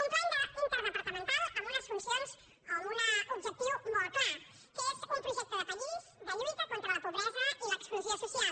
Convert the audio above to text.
un pla interdepartamental amb unes funcions o amb un objectiu molt clar que és un projecte de país de lluita contra la pobresa i l’exclusió social